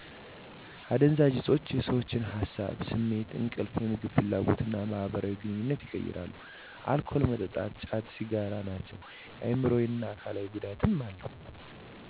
አደንዛዥ እፆች የሰዎችን ሀሳብ፤ ስሜት፤ እንቅልፍ፤ የምግብ ፍላጎት እና ማህበራዊ ግንኙነትን ይቀይራሉ። አልኮል መጠጥ፤ ጫት፤ ሲጋራ ናቸው። አይምሮአዊ እና አካላዊ ጉዳት አለው።